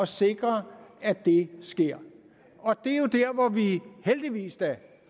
sikre at det sker og heldigvis da